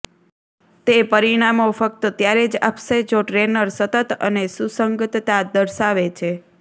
તે પરીણામો ફક્ત ત્યારે જ આપશે જો ટ્રેનર સતત અને સુસંગતતા દર્શાવે છે